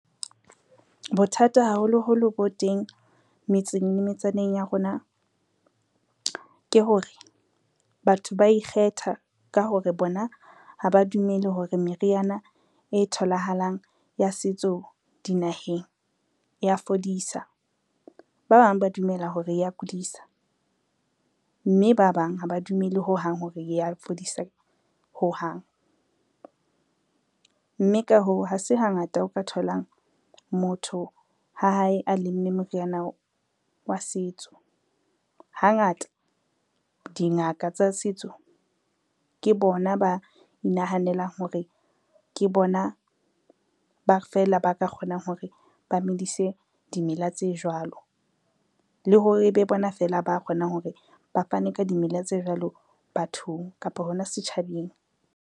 Bothata haholoholo bo teng metseng le metsaneng ya rona, ke hore batho ba ikgetha ka hore bona ha ba dumele hore meriana e tholahalang ya setso dinaheng ya fodisa. Ba bang ba dumela hore ya kudisa, mme ba bang ha ba dumele hohang hore ya fodisa hohang, mme ka hoo ha se hangata o ka tholang motho ha hae a lemme moriana wa setso. Hangata dingaka tsa setso ke bona ba inahanelang hore ke bona fela ba ka kgonang hore ba medise dimela tse jwalo, le hore e be bona fela ba kgonang hore ba fane ka dimela tse jwalo bathong kapa hona setjhabeng.